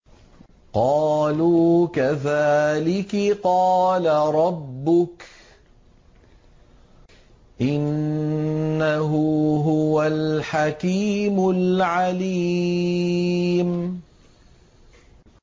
قَالُوا كَذَٰلِكِ قَالَ رَبُّكِ ۖ إِنَّهُ هُوَ الْحَكِيمُ الْعَلِيمُ